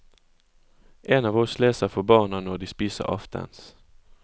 En av oss leser for barna når de spiser aftens.